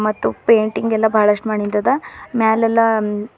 ಮತ್ತು ಪೇಂಟಿಂಗ್ ಎಲ್ಲಾ ಬಹಳಷ್ಟ ಮಾಡಿಂದದ ಮ್ಯಾಲ್ ಎಲ್ಲಾ--